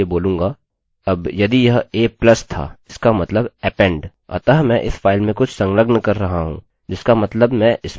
अब यदि यह a+ था इसका मतलब append अतः मैं इस फाइल में कुछ संलग्न कर रहा हूँजिसका मतलब मैं इसमें जोड़ रहा हूँ